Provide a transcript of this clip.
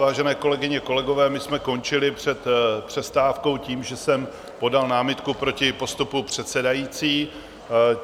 Vážené kolegyně, kolegové, my jsme končili před přestávkou tím, že jsem podal námitku proti postupu předsedající.